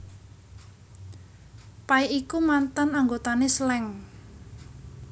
Pay iku mantan anggotané Slank